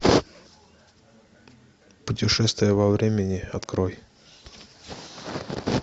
путешествие во времени открой